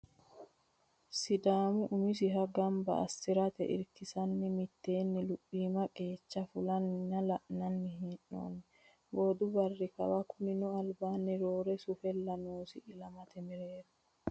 Sidaamu umisiha gamba assirate irkisamate iima luphima qeecha fulanna la'nanni hee'nonni boodu barri kawa kunino albinni roore sufalla noosi ilamate mereero.